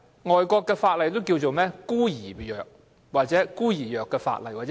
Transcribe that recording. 外國的法例也稱這些為"孤兒藥"或"孤兒病"的法例。